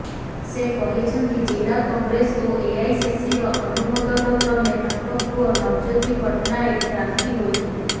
ସେ କହିଛନ୍ତି ଜିଲ୍ଲା କଂଗ୍ରେସ ଓ ଏଆଇସିସିର ଅନୁମୋଦନ କ୍ରମେ ତାଙ୍କ ପୁଅ ନବଜ୍ୟୋତି ପଟ୍ଟନାୟକ ପ୍ରାର୍ଥୀ ହୋଇଥିଲେ